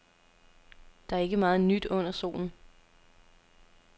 Der er ikke meget nyt under solen.